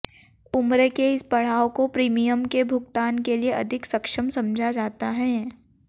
उम्र के इस पड़ाव को प्रीमियम के भुगतान के लिए अधिक सक्षम समझा जाता है